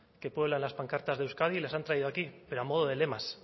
que pueblan las pancartas de euskadi y las han traído aquí pero a modo de lemas